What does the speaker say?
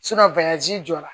jɔra